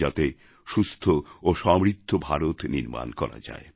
যাতে সুস্থ এবং সমৃদ্ধ ভারত নির্মাণ করা যায়